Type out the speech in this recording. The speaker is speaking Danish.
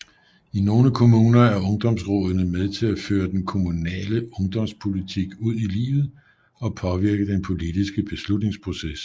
I nogle kommuner er ungdomsrådene med til at føre den kommunale ungdomspolitik ud i livet og påvirke den politiske beslutningsproces